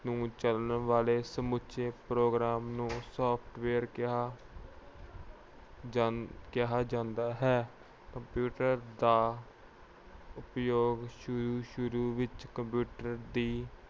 ਨੂੰ ਚਲਾਉਣ ਵਾਲੇ ਸਮੁੱਚੇ program ਨੂੰ software ਕਿਹਾ ਅਹ ਕਿਹਾ ਜਾਂਦਾ ਹੈ। computer ਦਾ ਉਪਯੋਗ ਸ਼ੁਰੂ-ਸ਼ੁਰੂ ਵਿੱਚ computer ਦੀ